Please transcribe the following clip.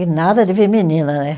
E nada de vir menina, né?